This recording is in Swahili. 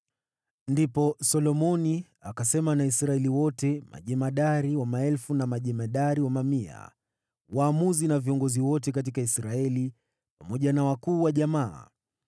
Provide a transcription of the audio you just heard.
Ndipo Solomoni akasema na Israeli wote, majemadari wa maelfu na majemadari wa mamia, waamuzi na viongozi wote katika Israeli, pamoja na wakuu wa jamaa.